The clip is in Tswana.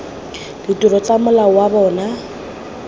ditiro tsa mola wa bona